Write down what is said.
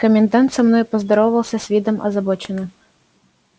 комендант со мною поздоровался с видом озабоченным